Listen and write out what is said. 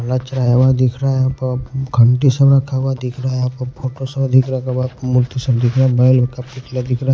घंटी सब दिख रहा हैबड़ा सा फोटो दिख रहा है मूर्ति सब दिख रहा है --